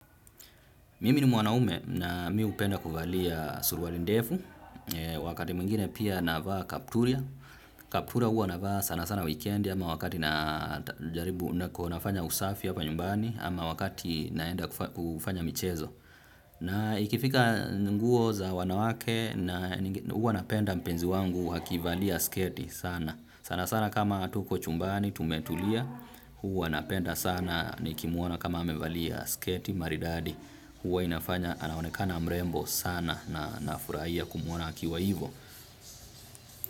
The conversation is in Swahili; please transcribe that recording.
Mimi ni mwanaume na mi hupenda kuvalia suruali ndefu, wakati mwingine pia navaa kaptura. Kaptura huwa navaa sana sana wekendi ama wakati na jaribu nafanya usafi hapa nyumbani ama wakati naenda kufanya michezo. Na ikifika nguo za wanawake huwa napenda mpenzi wangu hakivalia sketi sana. Sana sana kama tuko chumbani tumetulia huwa napenda sana nikimuona kama amevalia sketi maridadi. Huwa inafanya anaonekana mrembo sana na nafurahia kumuona akiwa hivo.